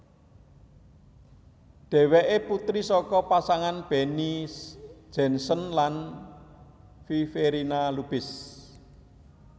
Dheweké Putri saka pasangan Benny Jensen lan Viverina Lubis